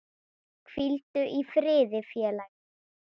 Hvíldu í friði félagi.